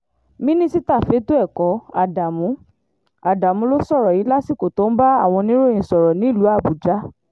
mínísítà fẹ̀tọ́ ẹ̀kọ́ ádámù ádámù ló sọ̀rọ̀ yìí lásìkò tó ń bá àwọn oníròyìn sọ̀rọ̀ nílùú àbújá